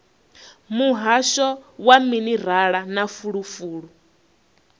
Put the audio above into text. muhasho wa minerala na fulufulu